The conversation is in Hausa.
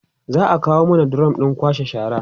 za'a kawo mana drum ɗin kwashe shara